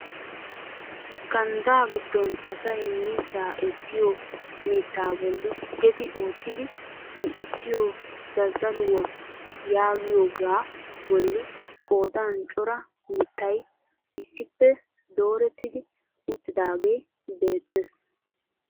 Ganddaa giddon asay miizzaa essiyoo mittaa bolli geddi oottidi zin"issiyoo zazzaluwaa yaagiyoogaa bolli qoodan cora mittay issippe doorettidi uttidaagee beettees.